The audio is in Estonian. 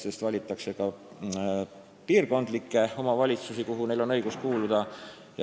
Nüüd valitakse ka piirkondlikke omavalitsuskogusid, kuhu neil on õigus kuuluda.